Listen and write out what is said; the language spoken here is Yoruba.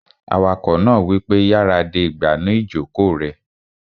Awakọ̀ náà wípé, "yára de ìgbànú ìjòkó rẹ!"